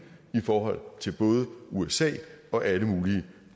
i forhold til både usa og alle mulige